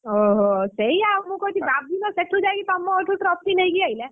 ଓହୋ ସେୟା ଆଉ ମୁଁ କହୁଛି ବାବୁନ ସେଠୁ ଯାଇକି ତମର ଏଠୁ trophy ନେଇକି ଆଇଲା,